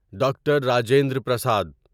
doctor Rajendra Prasad